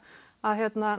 að